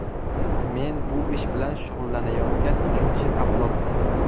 Men bu ish bilan shug‘ullanayotgan uchinchi avlodman.